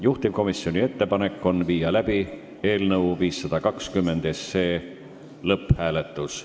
Juhtivkomisjoni ettepanek on panna eelnõu 520 lõpphääletusele.